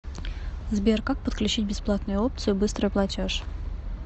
сбер как подключить бесплатную опцию быстрый платеж